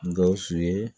Gawusu ye